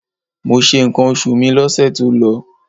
Mo ṣe nǹkan oṣù mi lọ́sẹ̀ tó lọ.